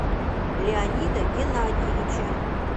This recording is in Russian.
леонида геннадьевича